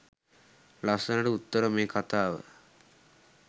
ලස්සනට උත්තර මේ කතාව